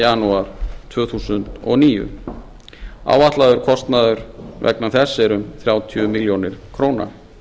janúar tvö þúsund og níu áætlaður kostnaður vegna þess er um þrjátíu milljónir króna